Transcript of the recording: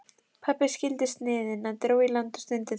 Meistarinn er spenntari en ég, sagði Kjartan og blikkaði Lárus.